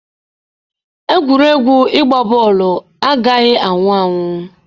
Egwuregwu ịgba bọọlụ agaghị anwụ anwụ.